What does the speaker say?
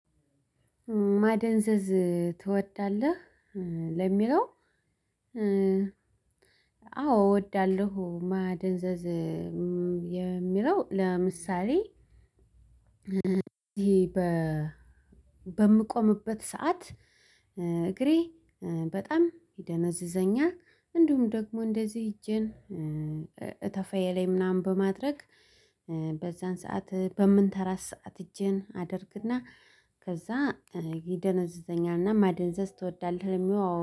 ማደንዘዝ ትወዳለህ ለሚለው? አዎ እወዳለሁ ማደንዘዝ የሚለው። ለምሳሌ በምቆምበት ሰዓት እግሬ በጣም ይደነዝዘኛል። እንዲሁም ደግሞ እንደዚህ እጅን እታፋየላይ ምናምን በማድረግ። በዛን ሰዓት በምንተራት ሰዓት እጄን አደርግና ከዛ ይደነዘዘኛልና። ማደንዘዝ ትወዳለህ ለሚለው? አወ